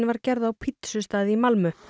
var gerð á pítsustað í Malmö